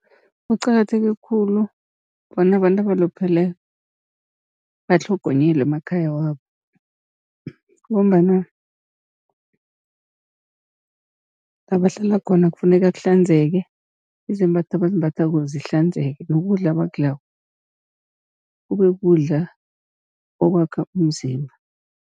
Kuqakatheke khulu bona abantu abaluphele batlhogonyelwe emakhaya wabo, ngombana la bahlala khona kufuneka kuhlanzeke, izembatho abazimbathako zihlanzeke nokudla abakudlako kube kukudla okwakha umzimba.